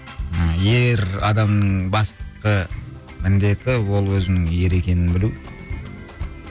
ыыы ер адамның басқы міндеті ол өзінің ер екенін білу